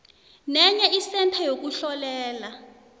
nenye isentha yokuhlolela